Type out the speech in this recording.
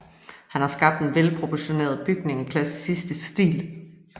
Han har skabt en velproportioneret bygning i klassicistisk stil